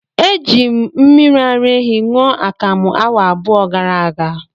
Eji m mmiri ara ehi ṅụọ akamu awa abụọ gara aga.